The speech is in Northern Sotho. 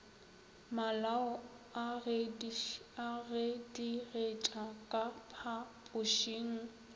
malao a gedigetša ka phapošeng